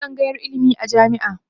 akwai tsangayar ilimi a jami'a